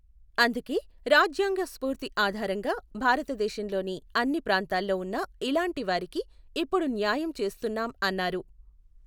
అందుకే, రాజ్యాంగ స్ఫూర్తి ఆధారంగా భారతదేశంలోని అన్నీ ప్రాంతాల్లో ఉన్న ఇలాంటివారికి ఇప్పుడు న్యాయం చేస్తున్నాం అన్నారు.